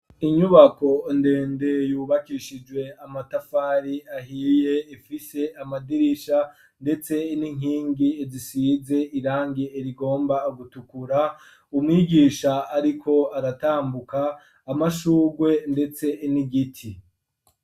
Inyubako ndende yubakishijwe amatafari ahiye, ifise amadirisha ndetse n'inkingi risize irangi rigomba gutukura, umwigisha ariko aratambuka amashurwe ndetse n'igiti.